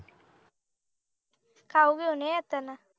खाऊ घेऊन ये येताना